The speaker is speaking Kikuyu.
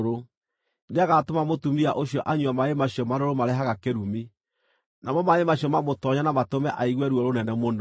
Nĩagatũma mũtumia ũcio anyue maaĩ macio marũrũ marehaga kĩrumi, namo maaĩ macio mamũtoonye na matũme aigue ruo rũnene mũno.